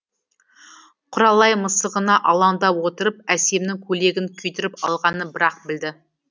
құралай мысығына алаңдап отырып әсемнің көйлегін күйдіріп алғанын бір ақ білді